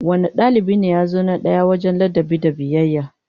Wane dalibi ne ya zo na daya wajen ladabi da biyayya?